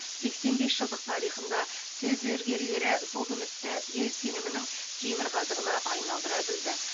сексен бес жылдық тарихында сөз зергерлері сол үмітті ел сенімінің темір қазығына айналдыра білді